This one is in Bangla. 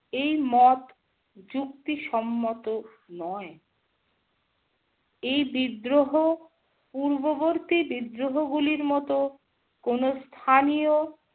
এই মত যুক্তি সম্মত নয়। এই বিদ্রোহ পূর্ববর্তী বিদ্রোহগুলির মত কোনো স্থানীয়